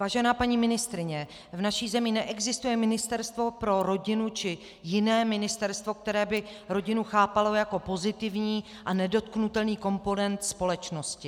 Vážená paní ministryně, v naší zemi neexistuje ministerstvo pro rodinu či jiné ministerstvo, které by rodinu chápalo jako pozitivní a nedotknutelný komponent společnosti.